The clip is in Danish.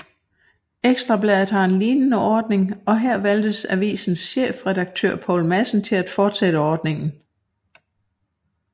Ekstra Bladet har en lignende ordning og her valgte avisens chefredaktør Poul Madsen at fortsætte ordningen